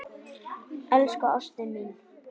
Elsku ástin mín.